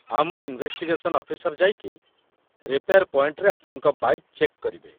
ଆମ investigation officer ଯାଇକି repair ପଏଣ୍ଟରେ ଆପଣଙ୍କ ବାଇକ୍‌ ଚେକ୍ କରିବେ ।